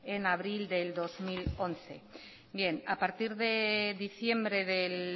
en abril del dos mil once bien a partir de diciembre del